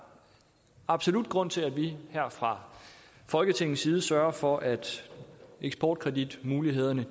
absolut grund til at vi her fra folketingets side sørger for at eksportkreditmulighederne